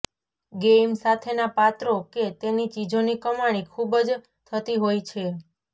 game સાથેનાં પાત્રો કે તેની ચીજોની કમાણી ખૂબ જ થતી હોય છે